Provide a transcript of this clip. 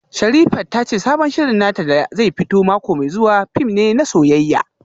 Sherifat ta ce sabon shirin nata da zai fito mako mai zuwa fim ne na soyayya